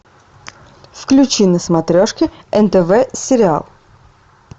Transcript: включи на смотрешке нтв сериал